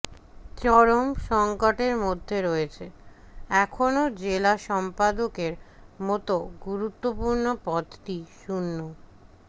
চরম সংকটের মধ্যে রয়েছে এখনও জেলা সম্পাদকের মতো গুরুত্বপূর্ণ পদটি শূণ্য